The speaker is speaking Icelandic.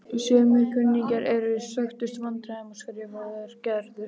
Sumir kunningjarnir eru í stökustu vandræðum skrifar Gerður.